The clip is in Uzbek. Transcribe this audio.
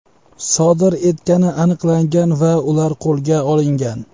sodir etgani aniqlangan va ular qo‘lga olingan.